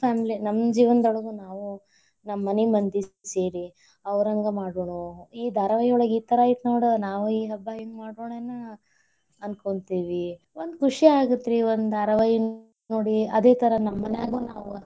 Family , ನಮ್ ಜೀವ್ನದೊಳಗ ನಾವೂ, ನಮ್ಮ ಮನಿ ಮಂದಿ ಸೇರಿ ಅವರಂಗ ಮಾಡುಣು, ಈ ಧಾರಾವಾಹಿಯೊಳಗ ಈ ತರಾ ಐತಿ ನೋಡ, ನಾವೂ ಈ ಹಬ್ಬಾ ಹಿಂಗ್ ಮಾಡುಣೇನು ಅನ್ಕೋತಿವಿ. ಒಂದ್ ಖುಷಿ ಆಗತ್ ರೀ ಒಂದ್ ಧಾರಾವಾಹಿ ನೋಡಿ, ಅದೇ ತರಾ ನಮ್ ಮನ್ಯಾಗೂ ನಾವ್.